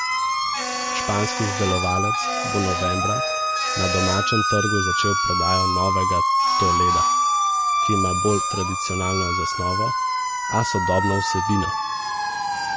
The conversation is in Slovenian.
Španski izdelovalec bo novembra na domačem trgu začel prodajo novega toleda, ki ima bolj tradicionalno zasnovo, a sodobno vsebino.